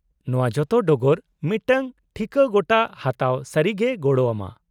-ᱱᱚᱶᱟ ᱡᱚᱛᱚ ᱰᱚᱜᱚᱨ ᱢᱤᱫᱴᱟᱝ ᱴᱷᱤᱠᱟᱹ ᱜᱚᱴᱟ ᱦᱟᱛᱟᱣ ᱥᱟᱹᱨᱤᱜᱮᱭ ᱜᱚᱲᱚ ᱟᱢᱟ ᱾